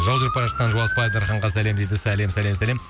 жол жүріп бара жатқан жолдас бала дарханға сәлем дейді сәлем сәлем сәлем